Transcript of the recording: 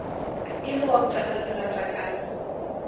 e le wa botalalerata ka